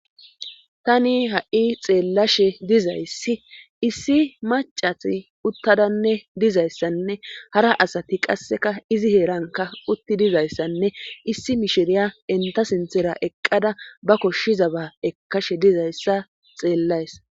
tani ha7i xeellashe dizayssi issi macati uttadanne dizayssanne hara asati qasseka izi heeranka utti dizayssanne issi mishiriya enta sinthera eqqada ba koshshizaba ekashe dizayssa xeellays